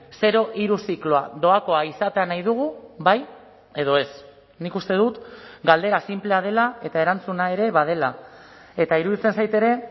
zero hiru zikloa doakoa izatea nahi dugu bai edo ez nik uste dut galdera sinplea dela eta erantzuna ere badela eta iruditzen zait ere